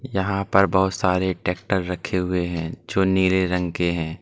यहां पर बोहोत सारे ट्रैक्टर रखे हुए हैं जो नीले रंग के हैं।